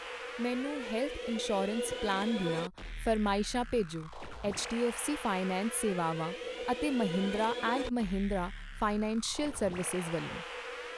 ਮੈਨੂੰ health insurance plan ਦੀਆਂ ਫਰਮਾਇਸ਼ਾ ਭੇਜੋਂ ਐੱਚਡੀਵੀ ਫਾਈਨੈਂਸ ਸੇਵਾਵਾਂ ਅਤੇ Mahindra and Mahindra financial services ਵੱਲੋ